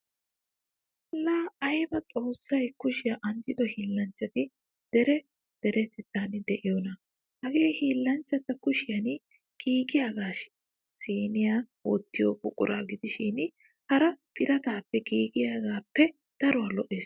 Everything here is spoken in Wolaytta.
Laa aybaa xoossay kushiyaa anjjido hiillanchati dere deretettaan diyoonaa. Hagee hillanchchaa kushiyan giigidaagee siniya wottiyo buquraa gidishin hara birataappe giigiyagaappe daruwa lo'ees.